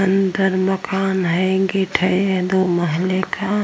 अंदर मकान है दो महले का।